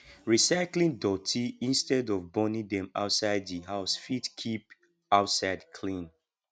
recycling doti instead of burning dem outside the house fit keep outside clean